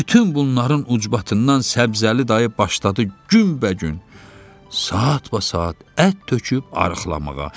Bütün bunların ucbatından Səbzəli dayı başladı günbəgün, saatbaat ət töküb arıqlamağa.